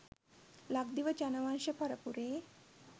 ලක්දිව ජනවංශ පරපුරේ